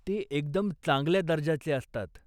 ते एकदम चांगल्या दर्जाचे असतात.